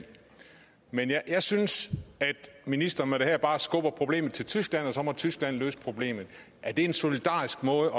men jeg synes at ministeren med det her bare skubber problemet til tyskland og så må tyskland løse problemet er det en solidarisk måde